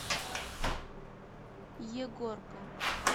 егорка